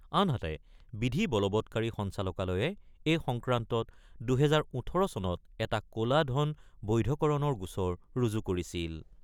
আনহাতে, বিধি বলবৎকাৰী সঞ্চালকালয়ে এই সংক্ৰান্তত ২০১৮ চনত এটা ক'লা ধন বৈধকৰণৰ গোচৰ ৰুজু কৰিছিল।